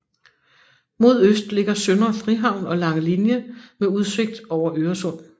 Mod øst ligger Søndre Frihavn og Langelinie med udsigt over Øresund